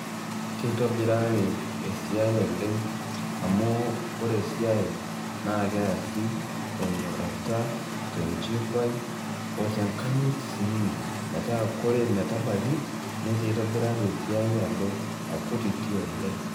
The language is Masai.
Keitobirari esiai oleng' amu ore esiai naa keasi tenyorrata, tenchipai o tenkayit sii metaa kore metabaiki netaa eitobirari esiai alo akutiti oleng'.